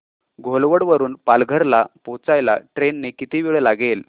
घोलवड वरून पालघर ला पोहचायला ट्रेन ने किती वेळ लागेल